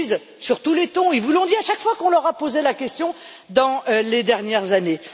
Ils vous le disent sur tous les tons, ils vous l'ont dit à chaque fois qu'on leur a posé la question ces dernières années.